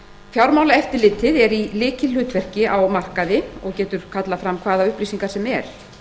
fjármálaeftirlitið er í lykilhlutverki á markaði og getur kallað fram hvaða upplýsingar sem er